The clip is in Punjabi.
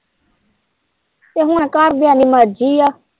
ਤੇ ਹੁਣ ਘਰਦਿਆਂ ਦੀ ਮਰਜ਼ੀ ਏ।